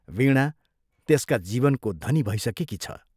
वीणा त्यसका जीवनको धनी भइसकेकी छ।